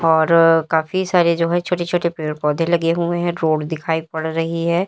और काफी सारे जो है छोटे छोटे पेड़ पौधे लगे हुए हैं रोड दिखाई पड़ रही है।